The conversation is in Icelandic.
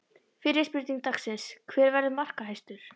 Fyrri spurning dagsins: Hver verður markahæstur?